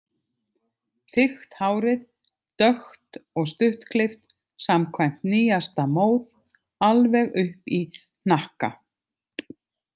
Þykkt hárið dökkt og stuttklippt samkvæmt nýjasta móð, alveg upp í hnakka.